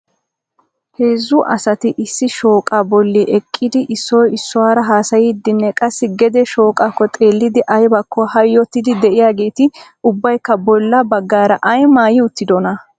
Heezzu asati issi shooqa bolli eqqidi issoy issuwaara haasayddinne qassi gede shooqakko xeelidi aybbakko hayyotidi de'iyaageeti ubbaykka bolla baggaara ay maayyi uttidoona?